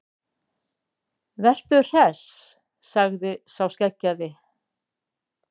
Veru Hress, sagði sá skeggjaði.